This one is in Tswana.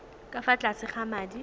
ka fa tlase ga madi